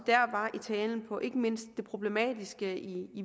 var i talen på ikke mindst det problematiske i